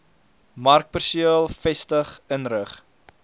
markperseel vestig inrig